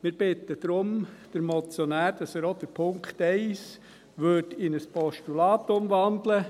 Wir bitten deshalb den Motionär, dass er auch Punkt 1 in ein Postulat umwandelt.